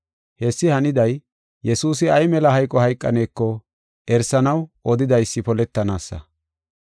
Hessi haniday Yesuusi ay mela hayqo hayqaneko erisanaw odidaysi poletanaasa.